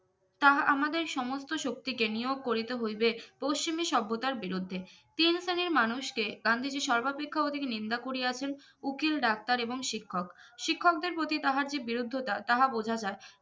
তাহা আমাদের সমস্ত শক্তি কে নিয়োগ করিতে হইবে অশ্বিনী সভ্যতার বিরুদ্ধে তিন শ্রেণির মানুষ কে গান্ধীজি সর্বাপেক্ষা ওদিকে নিন্দা করিয়াছেন উকিল ডাক্তার এবং শিক্ষক শিক্ষকদের প্রতি তাহার যে বিরুদ্ধতা তাহা বোঝা যায়